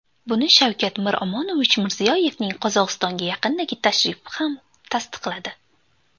Buni Shavkat Miromonovich Mirziyoyevning Qozog‘istonga yaqindagi tashrifi ham tasdiqladi.